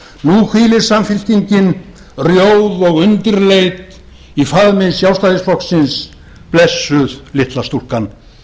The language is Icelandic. nú hvílir hún rjóð og undirleit í faðmi frjálshyggjuflokksins blessuð litla stúlkan